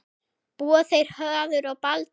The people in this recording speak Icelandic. Búa þeir Höður og Baldur